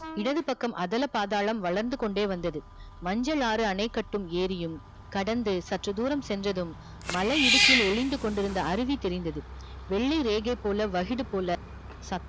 இடதுப் பக்கம் அதல பாதாளம் வளர்ந்து கொண்டே வந்தது மஞ்சளாறு அணை கட்டும் ஏறியும் கடந்து சற்று தூரம் சென்றதும் மலை இடுக்கில் ஒளிந்து கொண்டிருந்த அருவி தெரிந்தது வெள்ளி ரேகை போல வகிடு போல சத்தம்